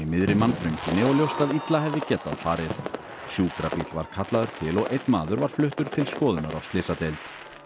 miðri mannþrönginni og ljóst að illa hefði getað farið sjúkrabíll var kallaður til og einn maður var fluttur til skoðunar á slysadeild